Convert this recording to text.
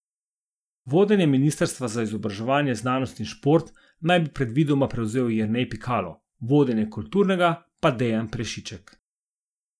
Vodenje ministrstva za izobraževanje, znanost in šport naj bi predvidoma prevzel Jernej Pikalo, vodenje kulturnega pa Dejan Prešiček.